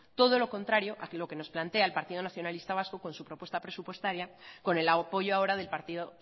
todo lo contrario a lo que nos plantea el partido nacionalista vasco con su propuesta presupuestaria con el apoyo ahora del partido